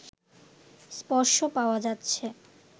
স্পর্শ পাওয়া যাচ্ছে